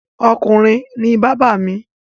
Ọkùnrin ni bábà mi.